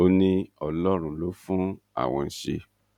ó ní ọlọrun ló fún àwọn ṣe